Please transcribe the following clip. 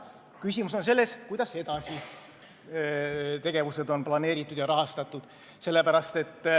Küsimus on selles, kuidas on edasised tegevused planeeritud ja rahastatud.